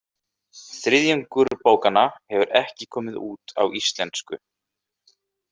Þriðjungur bókanna hefur ekki komið út á íslensku.